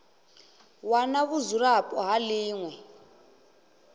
wana vhudzulapo ha ḽi ṅwe